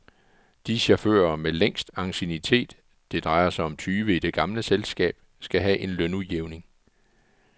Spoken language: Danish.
De chauffører med længst anciennitet, det drejer sig om tyve i det gamle selskab, skal have en lønudjævning.